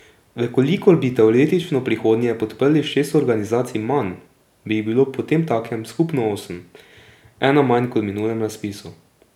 V kolikor bi teoretično v prihodnje podprli šest organizacij manj, bi jih bilo potemtakem skupno osem, ena manj kot v minulem razpisu.